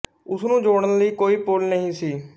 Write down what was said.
ਉਸ ਨੂੰ ਜੋੜਨ ਲਈ ਕੋਈ ਪੁਲ ਨਹੀਂ ਸੀ